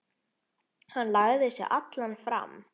Hann lagði sig allan fram.